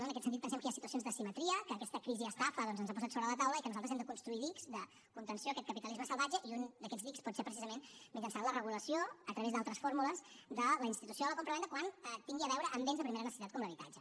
en aquest sentit pensem que hi ha situacions d’asimetria que aquesta crisiestafa doncs ens ha posat sobre la taula i que nosaltres hem de construir dics de contenció a aquest capitalisme salvatge i un d’aquests dics pot ser precisament mitjançant la regulació a través d’altres fórmules de la institució de la compravenda quan tingui a veure amb béns de primera necessitat com l’habitatge